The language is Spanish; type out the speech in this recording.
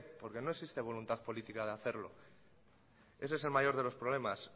porque no existe voluntad política de hacerlo ese es el mayor de los problemas